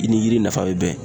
I ni yiri nafa be bɛn.